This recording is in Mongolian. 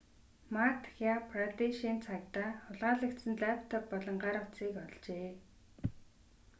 мадхя прадешийн цагдаа хулгайлагдсан лаптоп болон гар утсыг олжээ